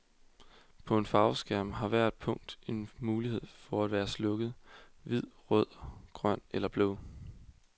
På en farveskærm har hvert punkt en mulighed for at være slukket, hvid, rød, grøn eller blå.